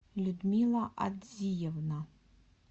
людмила адзиевна